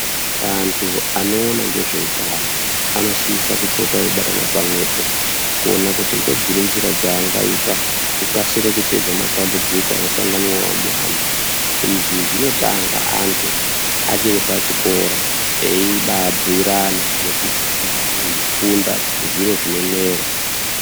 Antu anoona ngezveutano anosisa kupota eibatana pamwepo kuona kuti ngedziri nzira dzangaita kukasira kupedza matambudziko anosanganiva muvantu. Izvi zvinotanga antu achiri pachikora veibambuirana nekufunda zviro zvine mwero.